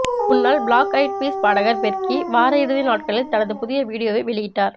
முன்னாள் Black Eyed Peas பாடகர் Fergie வார இறுதி நாட்களில் தனது புதிய வீடியோவை வெளியிட்டார்